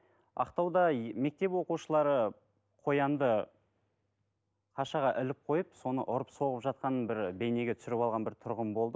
ақтауда мектеп оқушылары қоянды ашаға іліп қойып соны ұрып соғып жатқанын бір бейнеге түсіріп алған бір тұрғын болды